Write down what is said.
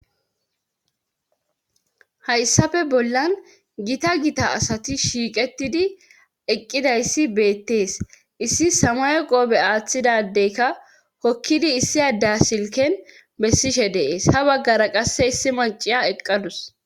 hayssafe bollan gita gita asati shiiqetidi eqqidayssi beettees issi samay qoobe aaththidadeyka hokkidi issi adda silken bessishe deees ha baggara qasse issi maciya eqqadus